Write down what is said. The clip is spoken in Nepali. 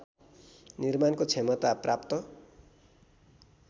निर्माणको क्षमता प्राप्त